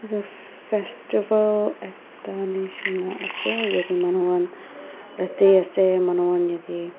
etu fesstival ekta nishina ase yate manuhan rade ase manuhan yate--